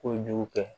Kojugu kɛ